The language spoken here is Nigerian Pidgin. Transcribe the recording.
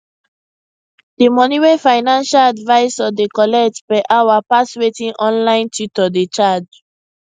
the money wey financial advisor dey collect per hour pass wetin online tutor dey charge